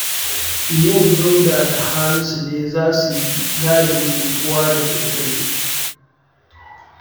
Yau Dauda da Hamisu ne za su yi gadin unguwa da daddare